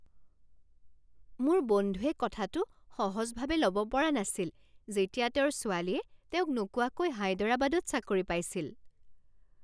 মোৰ বন্ধুয়ে কথাটো সহজভাৱে ল'ব পৰা নাছিল যেতিয়া তেওঁৰ ছোৱালীয়ে তেওঁক নোকোৱাকৈ হায়দৰাবাদত চাকৰি পাইছিল।